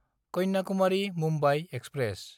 Kanyakumari-Mumbai express